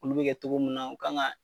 Olu bi kɛ togo mun na u kan ka